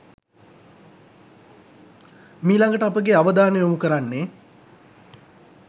මීළඟට අපගේ අවධානය යොමු කරන්නේ